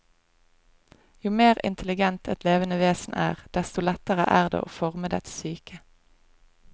Jo mer intelligent et levende vesen er, desto lettere er det å forme dets psyke.